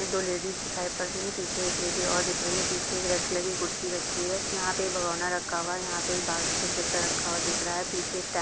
दो लेडिस दिखाई पड़ रही है पीछे एक लेडी और दिख रही है पीछे एक रेड कलर की कुर्सी रखी हुई है यहाँ पे बगोना रखा हुआ है यहाँ पर एक बास्केट जैसा रखा हुआ दिख रहा है पीछे एक --